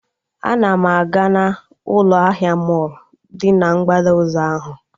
Ana m aga na ụlọ ahịa mọlụ dị na mgbada ụzọ ahụ